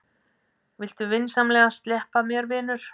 Viltu vinsamlegast sleppa mér, vinur!